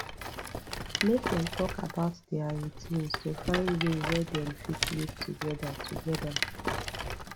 make dem talk about dia routines to find way wey dem fit live togeda togeda